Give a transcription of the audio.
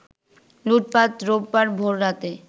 লুটপাট রোববার ভোররাতে